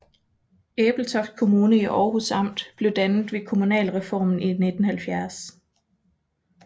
Ebeltoft Kommune i Århus Amt blev dannet ved kommunalreformen i 1970